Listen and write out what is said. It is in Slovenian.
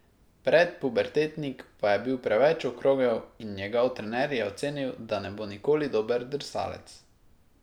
Predpubertetnik pa je bil preveč okrogel in njegov trener je ocenil, da ne bo nikoli dober drsalec.